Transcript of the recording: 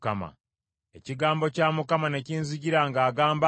Ekigambo kya Mukama ne kinzijira ng’agamba nti,